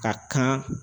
Ka kan